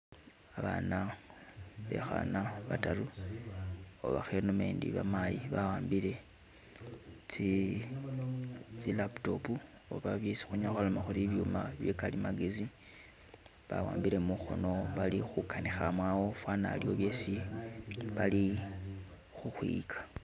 Abana bekhana bataru oba khe nomendi bamayi bawambile tsi laptop oba byesi khunyala khwaloma khuri ibyuma bye kalimagezi, bawambile mukhono bali khukanikha mo awo fana aliwo byesi bali khukhwiyika .